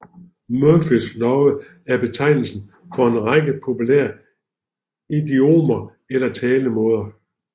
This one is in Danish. Murphys love er betegnelsen for en række populære idiomer eller talemåder